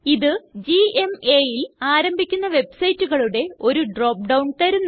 ഇത് gmaല് ആരംഭിക്കുന്ന വെബ്സൈറ്റുകളുടെ ഒരു ഡ്രോപ്പ് ഡൌൺ തരുന്നു